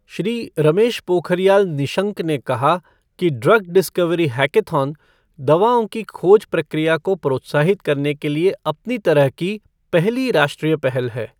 श्री रमेश पोखरियाल निशंक ने कहा कि ड्रग डिस्कवरी हैकथॉन दवाओं की खोज प्रक्रिया को प्रोत्साहित करने के लिए अपनी तरह की पहली राष्ट्रीय पहल है